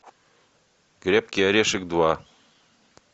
крепкий орешек два